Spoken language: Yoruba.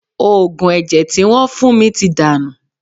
Òògùn ẹ̀jẹ̀ tí wọ́n fún mi ti dànù